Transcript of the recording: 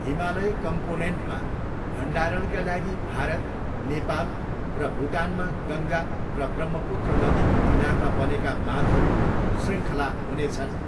हिमालय कम्पोनेन्टमा भण्डारणका लागि भारत, नेपाल र भुटानमा गङ्गा र ब्रह्मपुत्र नदीको किनारमा बनेका बाँधहरूको शृङ्खला हुनेछन्।